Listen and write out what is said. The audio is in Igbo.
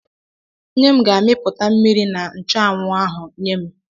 Nne m ga-apịpụta mmiri na nchụanwụ ahụ nye m.